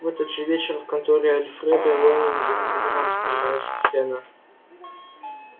в этот же вечер в конторе альфреда лэннинга разыгралась немая сцена